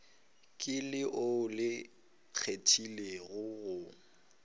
ke leo le kgethegilego go